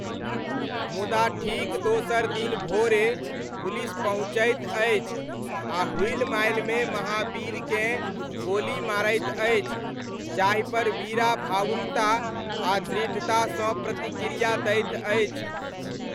मुदा ठीक दोसर दिन भोरे, पुलिस पहुँचैत अछि आ हुलिमालिमे महाबीरकेँ गोली मारैत अछि, जाहिपर वीरा भावुकता आ दृढ़तासँ प्रतिक्रिया दैत अछि।